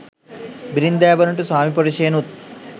බිරින්දෑවරුන්ට ස්වාමිපුරුශයනුත්